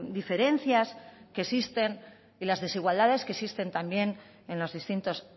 diferencias que existen y la desigualdades que existen también en los distintos